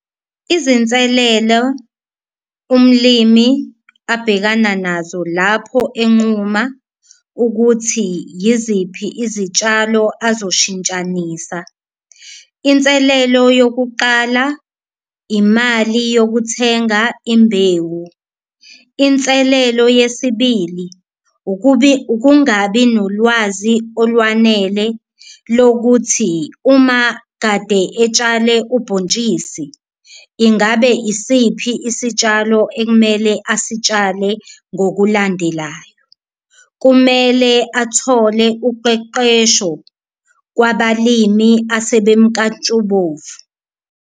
Izinselelo umlimi abhekana nazo lapho enquma ukuthi yiziphi izitshalo azoshintshanisa inselelo yokuqala imali yokuthenga imbewu, inselelo yesibili ukungabi nolwazi olwanele lokuthi uma kade etshale ubhontshisi ingabe isiphi isitshalo ekumele asitshale ngokulandelayo. Kumele athole uqeqesho kwabalimi asebemnkantshubovu.